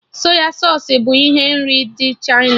Sọy sausụ bụ ihe nri ndị Chịna